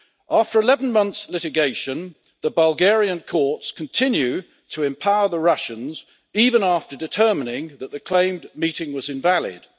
After 11 months' litigation, the Bulgarian courts continue to empower the Russians, even after determining that the claimed meeting was invalid.